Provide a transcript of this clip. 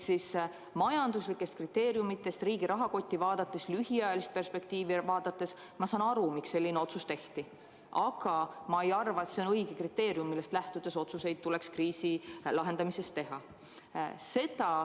Nii et majanduslikest kriteeriumidest lähtudes, riigi rahakotti ja lühiajalist perspektiivi vaadates ma saan aru, miks selline otsus tehti, aga ma ei arva, et see on õige kriteerium, millest lähtudes tuleks kriisi lahendamisel otsuseid teha.